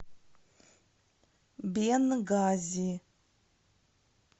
бенгази